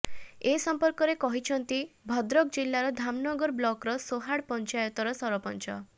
ଏ ସଂପର୍କରେ କହିଛନ୍ତି ଭଦ୍ରକ ଜିଲ୍ଳାର ଧାମନଗର ବ୍ଲକର ସୋହାଡ ପଞ୍ଚାତର ସରପଞ୍ଚ